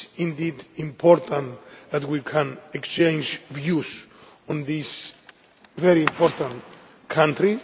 It is indeed important that we can exchange views on this very important country.